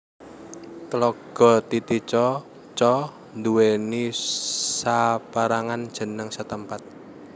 Tlaga Titicaca nduwèni sapérangan jeneng setempat